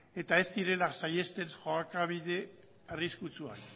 eta ez direla saihesten jokabide arriskutsuak